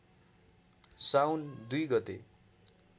साउन २ गते